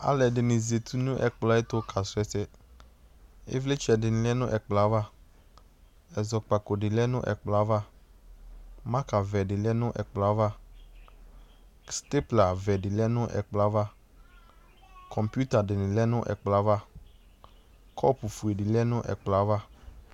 Alʋɛdɩnɩ zati nʋ ɛkplɔɛtʋ kasʋ ɛsɛ, Ɩvlɩ tsɛdɩnɩ lɛ nʋ ɛkplɔɛ ava, ɛzɔkpakodɩ lɛ nʋ ɛkplɔava , makavɛdɩ lɛ nʋ ɛkplɔava, steplavɛdɩ lɛ nʋ ɛkplɔava, kɔŋpitadɩnɩ lɛ nʋ ɛkplɔava , kɔpʋfuedɩ lɛ nʋ ɛkplɔava